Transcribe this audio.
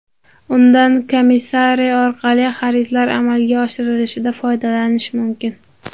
Undan Commissary orqali xaridlar amalga oshirilishida foydalanish mumkin.